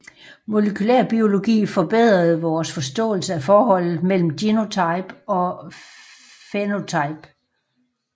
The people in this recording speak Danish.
Molekylærbiologi forbedrede vores forståelse af forholdet mellem genotype og fænotype